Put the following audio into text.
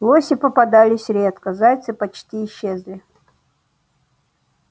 лоси попадались редко зайцы почти исчезли